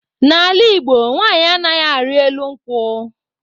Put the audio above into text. N'ala Igbo nwanyị anaghị arị elu nkwụ.